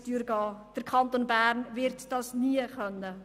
Das wird der Kanton Bern nie können.